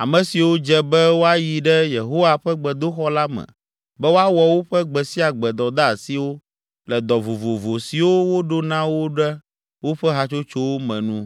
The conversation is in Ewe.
ame siwo dze be woayi ɖe Yehowa ƒe gbedoxɔ la me be woawɔ woƒe gbe sia gbe dɔdeasiwo le dɔ vovovo siwo woɖo na wo ɖe woƒe hatsotsowo me nu.